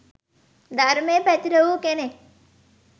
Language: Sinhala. ධර්මය පැතිර වූ කෙනෙක්